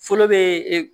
Fɔlɔ bɛ e